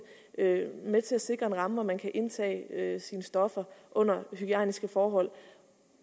med med til at sikre en ramme hvor man kan indtage sine stoffer under hygiejniske forhold